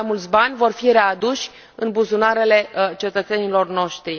Mult mai mulți bani vor fi readuși în buzunarele cetățenilor noștri.